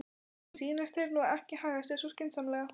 Mér sýnist þeir nú ekki haga sér svo skynsamlega.